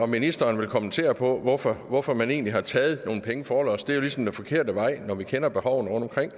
ministeren kommentere på hvorfor hvorfor man egentlig har taget nogle penge forlods det er jo ligesom den forkerte vej når vi kender behovene rundtomkring